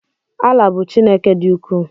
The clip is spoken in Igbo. Allah bu Chineke di uku